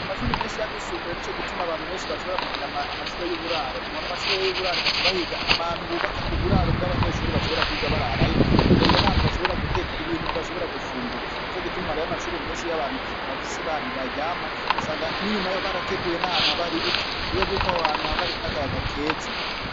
Amashure menshi yabisumbuye, nico gituma abantu benshi bashobora kugira amashure y'uburaro, mu mashure y'uburaro baca bahiga ahantu bubaka uburaro bw'abanyeshure bashobora kwiga bararayo, bagahiga n'ahantu bashobora guteka ibintu bashobora gufungura, nico gituma rero amashure menshi y'abantu bafise ahantu baryama usanga n'inyuma barateguye ahantu haba hari ibiti kuburyo bwuko aho hantu haba hari n'akayaga keza.